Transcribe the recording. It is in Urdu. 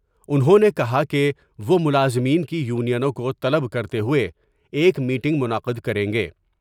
انہوں نے کہا کہ وہ ملازمین کی یونیوں کو طلب کرتے ہوۓ ایک میٹنگ منعقد کر یں گے ۔